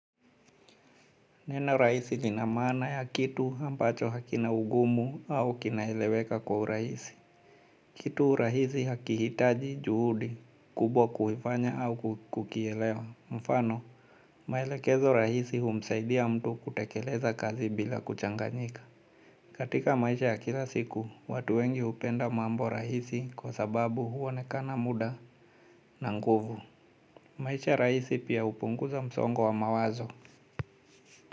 Neno rahiisi linamaana ya kitu ambacho hakina ugumu au kinaeleweka kwa urahisi. Kitu rahisi hakihitaji juhudi kubwa kuifanya au kukielewa. Mfano, maelekezo rahisi humsaidia mtu kutekeleza kazi bila kuchanganyika. Katika maisha ya kila siku, watu wengi hupenda mambo rahisi kwa sababu huonekana muda na nguvu. Maisha rahisi pia hupunguza msongo wa mawazo.